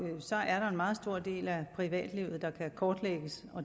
meget stor del af privatlivet der kan kortlægges